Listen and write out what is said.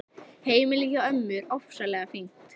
Heimilið hjá ömmu er ofsalega fínt.